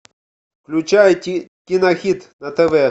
включай кинохит на тв